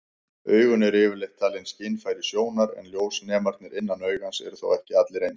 Augun eru yfirleitt talin skynfæri sjónar, en ljósnemarnir innan augans eru þó ekki allir eins.